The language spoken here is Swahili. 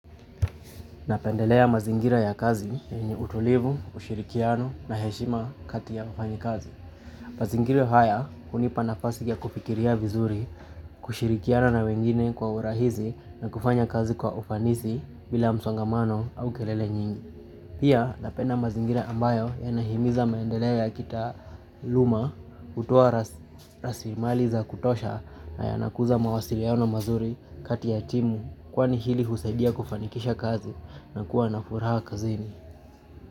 Napendelea mazingira ya kazi yenye utulivu, ushirikiano na heshima kati ya wafanyikazi. Mazingira haya hunipa nafasi ya kufikiria vizuri, kushirikiana na wengine kwa urahizi na kufanya kazi kwa ufanisi bila msongamano au kelele nyingi. Pia napenda mazingira ambayo yanahimiza maendeleo ya kitaluma hutoa rasilimali za kutosha na yanakuza mawasiliano mazuri kati ya timu kwani hili husaidia kufanikisha kazi na kuwa na furaha kazini.